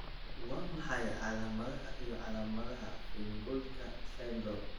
Waa maxay calaamadaha iyo calaamadaha Feingoldka syndrome?